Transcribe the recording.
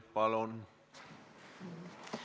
Palun!